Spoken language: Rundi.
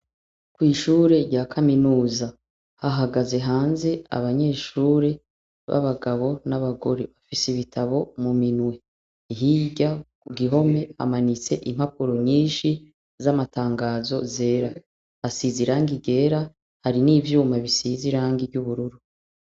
Kw'ishure rya kaminuza hahagaze hanze abanyeshure b'abagabo n'abagore, bafise ibitabo mu minwe. Hirya Ngirante amanitse impapuro nyinshi z'amatangazo zera, hasize irangi ryera, hari n'ivyuma bisize irangi ry'ubururu.